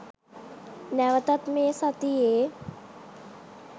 නැවතත් මේ සතියේ